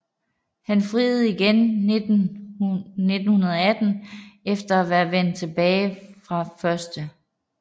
Han friede igen i 1918 efter at være vendt tilbage fra 1